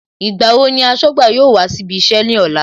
Ìgbà wo ni aṣọ́gbà yóò wá síbí iṣẹ́ ní ọ̀la